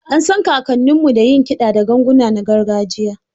An san kakanninmu da yin kiɗa da ganguna na gargajiya